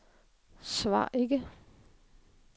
svar ikke